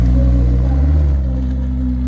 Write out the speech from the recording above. जो की डांस कर रही हैं।